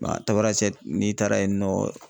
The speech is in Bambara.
Tabarasɛti n'i taara yen nɔ